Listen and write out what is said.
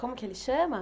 Como que ele chama?